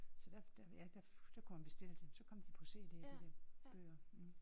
Så der der ja der kunne man bestille dem så kom de på CD de der bøger